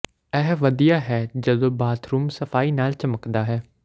ਇਹ ਵਧੀਆ ਹੈ ਜਦੋਂ ਬਾਥਰੂਮ ਸਫਾਈ ਨਾਲ ਚਮਕਦਾ ਹੈ